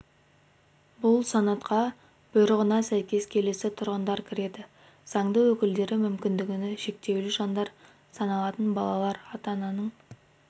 бұл санатқа бұйрығына сәйкес келесі тұрғындар кіреді заңды өкілдері мүмкіндігі шектеулі жандар саналатын балалар ата-ананың